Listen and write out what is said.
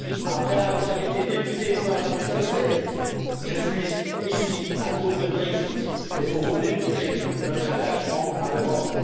Après avoir été député au parlement écossais, je suis ici à cause du Brexit et pour vous démontrer notre attachement à l'Europe.